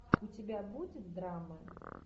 у тебя будет драма